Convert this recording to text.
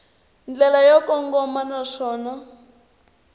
ndlela yo kongoma naswona a